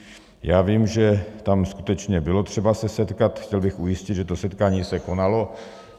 Já vím, že tam skutečně bylo třeba se setkat, chtěl bych ujistit, že to setkání se konalo.